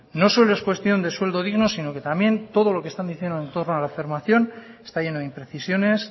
no solo no es cuestión de sueldo digno sino que también todo lo que están diciendo en torno a la está lleno de imprecisiones